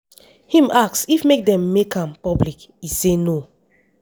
im ask if make dem make am public e say no.